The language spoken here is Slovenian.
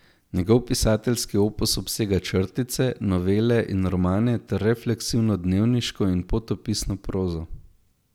Njegov pisateljski opus obsega črtice, novele in romane ter refleksivno dnevniško in potopisno prozo.